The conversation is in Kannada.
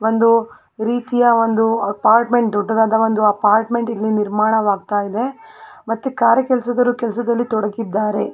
ಒಂದು ರೀತಿಯ ಒಂದು ಅಪಾರ್ಟ್ಮೆಂಟ್ ದೊಡ್ಡದಾದ ಒಂದು ಅಪಾರ್ಟ್ಮೆಂಟ್ ಇಲ್ಲಿ ನಿರ್ಮಾಣವಾಗತ್ತಾ ಇದೆ ಮತ್ತೆ ಕಾರೆ ಕೆಲಸದವರು ಕೆಲಸದಲ್ಲಿ ತೊಡಗಿದ್ದಾರೆ.